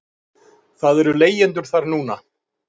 Það eru leigjendur þar núna.